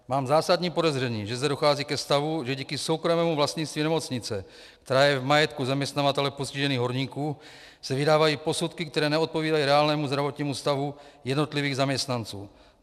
Mám zásadní podezření, že zde dochází ke stavu, že díky soukromému vlastnictví nemocnice, která je v majetku zaměstnavatele postižených horníků, se vydávají posudky, které neodpovídají reálnému zdravotnímu stavu jednotlivých zaměstnanců.